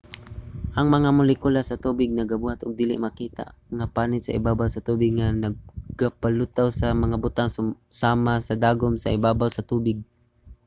ang mga molekula sa tubig nagabuhat og dili makita nga panit sa ibabaw sa tubig nga nagapalutaw sa mga butang susama sa dagom sa ibabaw sa tubig